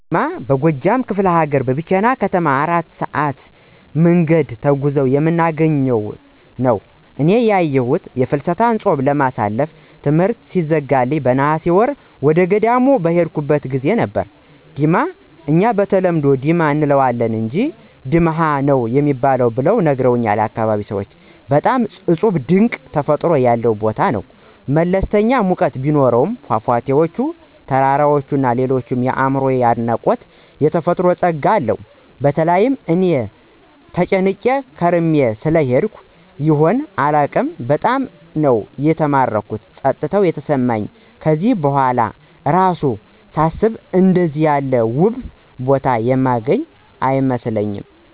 ዲማ፦ ዲማ በጎጃም ከፍለ ሀገር ከቢቸና ከተማ የ4 ሰአት መንገድ ተጉዘን የምናገኘው ሲሆን እኔ ያየሁት የፍልሰታ ጾምን ለማሳለፍ ትምሕርት ሲዘጋልኝ በነሐሴ ወር ወደገዳም በሄድኩበት ጊዜ ነበር፤ ዲማ እኛ በተለምዶ "ዲማ “ አንለዋለን አንጅ “ድማኅ“ ነው ሚባል ብለው ነግረውኛል ያካባቢው ሰዎች። በጣም እጹብ ድንቅ ተፈጥሮ ያለው ቦታ ነው። መለስተኛ ሙቀት ቢኖሰውም ፏፏቴዎች፣ ተራራዎች እና ሌሎች አእምሮየን የደነቁት የተፈጥሮ ጸጋዎች አሉት። በተለይ እኔ ተጨናንቄ ከርሜ ስለሄድኩ ይሁን አላውቅም በጣም ነው የተማረኩት ጸጥታ የተሰማኝ ከዚህ በኋላ እራሱ ሳስበው አንደዚያ ያለ ውብ ቦታ የማገኝ አይመስለኝም።